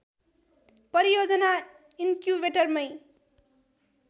परियोजना इन्क्युबेटर मै